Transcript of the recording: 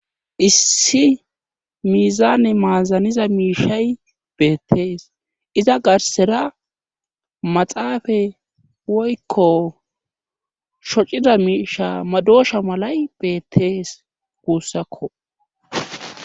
issi miizaane maazaniza miishay beettees iza garsera maxaafe woykko shocida miisha madosha malay beettees guussakko